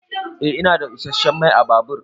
Eh ina da isasshen Mai ã babur.